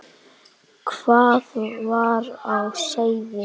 Hvað var á seyði?